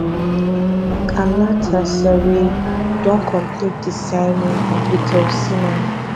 galatasaray don complete di signing of victor osimehn